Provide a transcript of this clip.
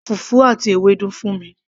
ra fùfú àti Ewédú fún mi